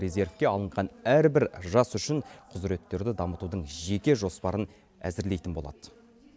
резервке алынған әрбір жас үшін құзыреттерді дамытудың жеке жоспарын әзірлейтін болады